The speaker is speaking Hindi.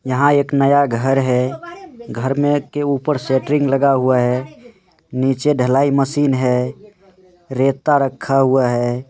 यहाँ एक नया घर है घर के ऊपर सैट्रिन लगा हुआ है नीचे ढलाई मशीन है रेता रखा हुआ है।